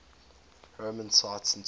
roman sites in turkey